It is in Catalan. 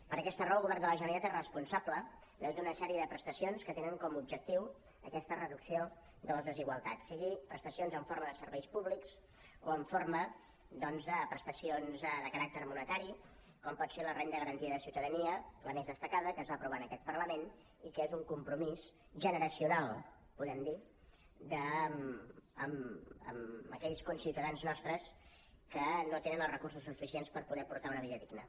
per aquesta raó el govern de la generalitat és responsable de tota una sèrie de prestacions que tenen com a objectiu aquesta reducció de les desigualtats sigui prestacions en forma de serveis públics o en forma doncs de prestacions de caràcter monetari com pot ser la renda garantida de ciutadania la més destacada que es va aprovar en aquest parlament i que és un compromís generacional podem dir amb aquells conciutadans nostres que no tenen els recursos suficients per poder portar una vida digna